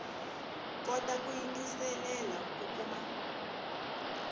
kota ku yingiselela ku kuma